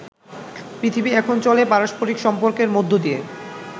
পৃথিবী এখন চলে পারস্পারিক সম্পর্কের মধ্য দিয়ে।